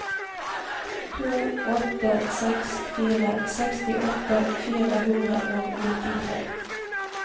to åtte seks fire sekstiåtte fire hundre og nittitre